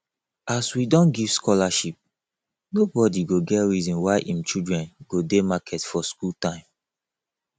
as we don give scholarship nobodi go get reason why im children go dey market for skool time